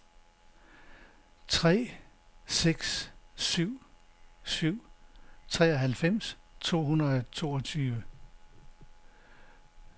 tre seks syv syv treoghalvfems to hundrede og toogtyve